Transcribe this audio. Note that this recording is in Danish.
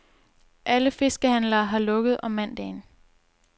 Alle fiskehandlere har lukket om mandagen.